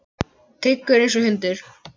Tryggur einsog hundur.